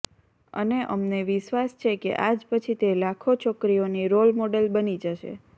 અને અમને વિશ્વાસ છે કે આજ પછી તે લાખો છોકરીઓની રોલ મોડલ બની જશે